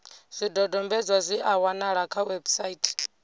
zwidodombedzwa zwi a wanalea kha website